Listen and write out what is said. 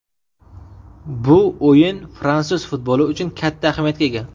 Bu o‘yin fransuz futboli uchun katta ahamiyatga ega.